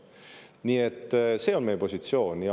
Nii et see on meie positsioon.